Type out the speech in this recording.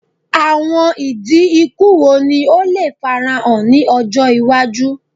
Awọn idi iku wo ni o le farahan ni ọjọ iwaju?